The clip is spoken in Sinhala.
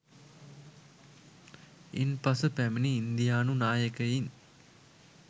ඉන් පසු පැමිණි ඉන්දියානු නායකයින්